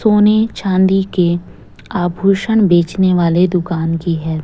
सोने चांदी के आभूषण बेचने वाले दुकान कि है।